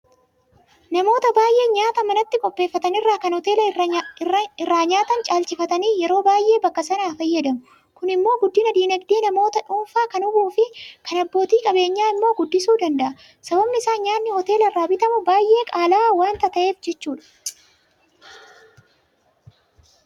Namoota baay'een nyaata manattu qopheeffatan irra kan hoteela irraa nyaatan caalchifatanii yeroo baay'ee bakka sanaa fayyadamu. Kun immoo guddina diinagdee namoota dhuunfaa kan hubuufi kan abbootii qabeenyaa immoo guddisuu danda'a. Sababni isaas nyaanni hoteela irraa bitamu baay'ee qaala'aa waanta ta'eef jechuudha.